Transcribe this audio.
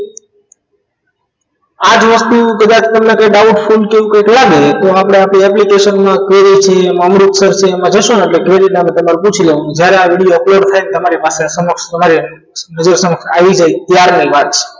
આજ વસ્તુ કદાચ તમને કોઈ doubtful કે કંઈક લાગે તો આપણે આપણી application માં KBC અમૃત સર છે એમાં જશો ને એટલે ગેરીટા નુ તમારે પૂછી લેવાનું જ્યારે આ video upload થાય ત્યારે તમારી પાસે તમારી સમક્ષ તમારે registration આવી જાય ત્યાર ની વાત છે